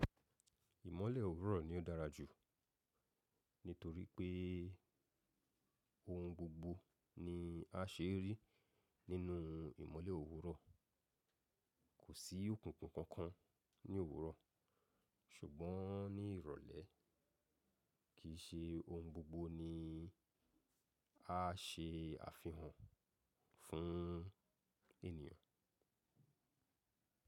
Ìmọ̀lẹ̀ òwúrọ̀ ni ó dára jù nítorí pé ohun gbogbo ni a ṣe rí nínú ìmọ̀lẹ̀ òwúrọ̀. Kò sí òkùnkùn kankan ní òwúrọ̀ ṣùgbọ́n ní ìrọ̀lẹ́ kìí ṣe ohun gbogbo ni a ṣe àfihàn fún ènìyàn.